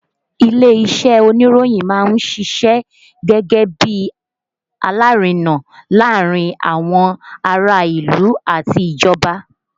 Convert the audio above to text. Ilé-iṣẹ́ oníròyìn máa ń ṣiṣẹ́ gẹ́gẹ́ bí alárinà láàárín àwọn ará ìlú àti ìjọba